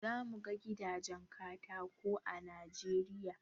Zamu ga gidajen katako a kasar Najeriya